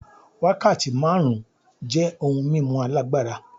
Wákàtí márùn-ún jẹ́ ohun mímu alágbára.